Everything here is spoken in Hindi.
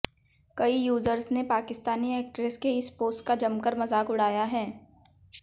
कई यूज़र्स ने पाकिस्तानी एक्ट्रेस के इस पोस्ट का जमकर मजाक उड़ाया है